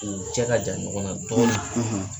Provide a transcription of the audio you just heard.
U cɛ ka jan ɲɔgɔn na dɔɔnin